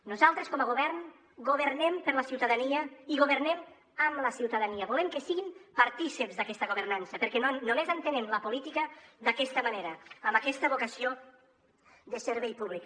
nosaltres com a govern governem per la ciutadania i governem amb la ciutadania volem que siguin partícips d’aquesta governança perquè només entenem la política d’aquesta manera amb aquesta vocació de servei públic